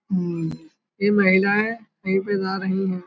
अम्म ये महिलाएँ कहीं पे जा रही हैं।